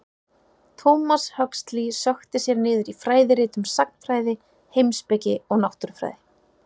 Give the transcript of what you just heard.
Thomas Huxley sökkti sér niður í fræðirit um sagnfræði, heimspeki og náttúrufræði.